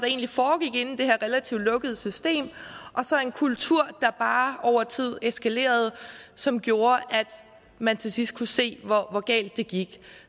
egentlig foregik inde i det her relativt lukkede system og så en kultur der bare over tid eskalerede som gjorde at man til sidst kunne se hvor galt det gik